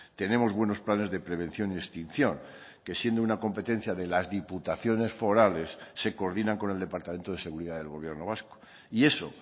tenemos buenos planes de prevención y extinción que siendo una competencia de las diputaciones forales se coordinan con el departamento de seguridad del gobierno vasco y eso